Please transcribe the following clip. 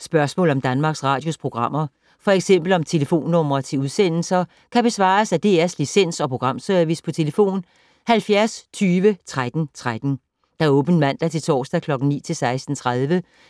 Spørgsmål om Danmarks Radios programmer, f.eks. om telefonnumre til udsendelser, kan besvares af DR Licens- og Programservice: tlf. 70 20 13 13, åbent mandag-torsdag 9.00-16.30,